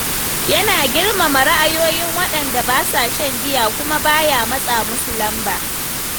Yana girmama ra’ayoyin waɗanda ba sa shan giya kuma ba ya matsa musu lamba.